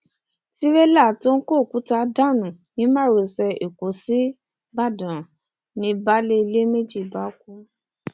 tírélà tó kó òkúta dànù ni márosẹ ẹkọ síbàdàn ni baálé ilé méjì bá kú